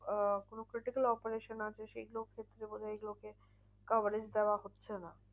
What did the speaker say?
আহ কোনো critical operation আছে সেগুলোর ক্ষেত্রে বোধহয় এইগুলোকে coverage দেওয়া হচ্ছে না।